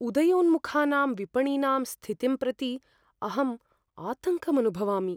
उदयोन्मुखानां विपणिनां स्थितिं प्रति अहं आतङ्कम् अनुभवामि।